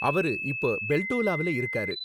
அவரு இப்ப பெல்டோலாவுல இருக்காரு.